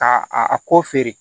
Ka a ko feere